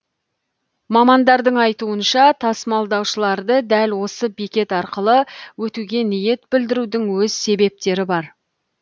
мамандардың айтуынша тасымалдаушыларды дәл осы бекет арқылы өтуге ниет білдіруінің өз себептері бар